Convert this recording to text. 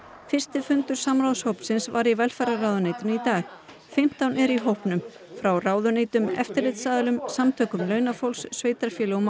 fyrsti fundur samráðshópsins var í velferðarráðuneytinu í dag fimmtán eru í hópnum frá ráðuneytum eftirlitsaðilum samtökum launafólks sveitarfélögum og